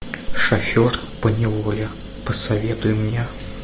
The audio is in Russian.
шофер поневоле посоветуй мне